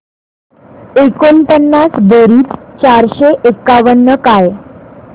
एकोणपन्नास बेरीज चारशे एकावन्न काय